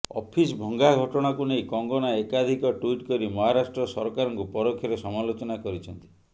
office ଭଙ୍ଗା ଘଟଣାକୁ ନେଇ କଙ୍ଗନା ଏକାଧିକ ଟ୍ୱିଟ୍ କରି ମହାରାଷ୍ଟ୍ର ସରକାରଙ୍କୁ ପରୋକ୍ଷରେ ସମାଲୋଚନା କରିଛନ୍ତି